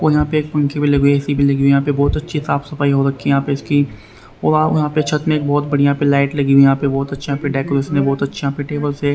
और यहां पे एक पंखे भी लगी ए_सी भी लगी हुए है यहां पे बहोत अच्छी साफ सफाई हो रखी है यहां पे इसकी आव छत में एक बहोत बढ़िया पे लाइट लगी हुई यहां पे बहोत अच्छा पर डेकोरेशन बहोत अच्छा पे टेबल्स है।